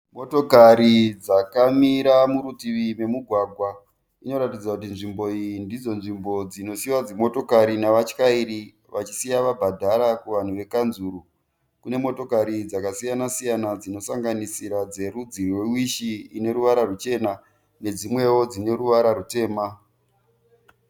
Motokari dzakamira murutivi memugwagwa. Inoratidza kuti nzvimbo iyi ndidzo nzvimbo dzinosiiwa dzimotokari nevachairi vachisiya vabhadhara kuvanhu vekukanzuru. Kune motokari dzakasiyana siyana dzinosanganisira dzerudzi rwe Wish ineruvara ruchena nedzimwewo dzine ruvara rutema.